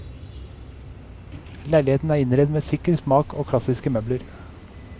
Leiligheten er innredet med sikker smak og klassiske møbler.